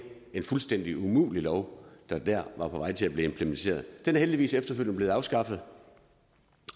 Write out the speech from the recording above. en fuldstændig umulig lov der var på vej til at blive implementeret den er heldigvis efterfølgende blevet afskaffet